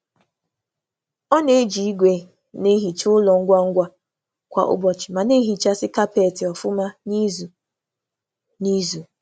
Ọ na-eji igwe nsa ngwa ngwa kwa ụbọchị ma na-emecha kapọt n’ike kwa izu abụọ.